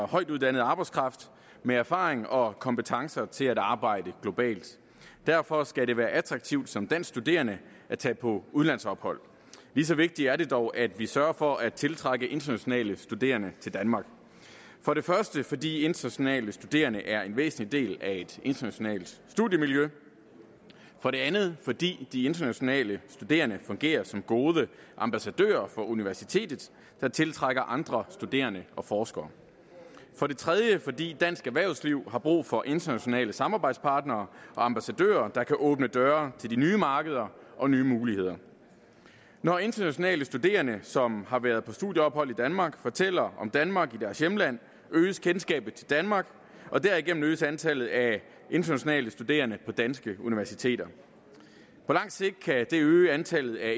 højtuddannet arbejdskraft med erfaring og kompetencer til at arbejde globalt derfor skal det være attraktivt som dansk studerende at tage på udlandsophold lige så vigtigt er det dog at vi sørger for at tiltrække internationale studerende til danmark for det første fordi internationale studerende er en væsentlig del af et internationalt studiemiljø for det andet fordi de internationale studerende fungerer som gode ambassadører for universitetet der tiltrækker andre studerende og forskere for det tredje fordi dansk erhvervsliv har brug for internationale samarbejdspartnere og ambassadører der kan åbne døre til de nye markeder og nye muligheder når internationale studerende som har været på studieophold i danmark fortæller om danmark i deres hjemland øges kendskabet til danmark og derigennem øges antallet af internationale studerende på danske universiteter på lang sigt kan det øge antallet af